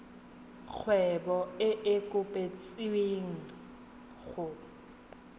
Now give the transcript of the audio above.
kgwebo e e kopetswengcc go